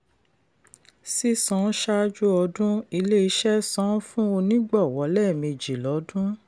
sísan ṣáájú ọdún: ilé-iṣẹ́ san fún onígbọ̀wọ́ lẹ́mejì lọdún.